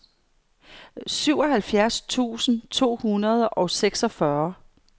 syvoghalvfjerds tusind to hundrede og seksogfyrre